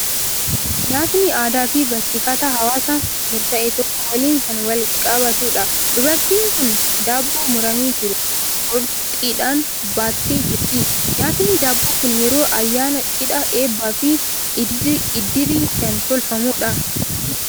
Nyaatni aadaa fi barsiifata hawaasa murtaa'e tokko waliin kan wal qabatudha. Dubartiin kun daabboo muramee jiru, qorxiidhaan baattee jirti. Nyaatni daabboo kun yeroo ayaanaa, cidhaa, eebbaa fi iddirii kan tolfamudha.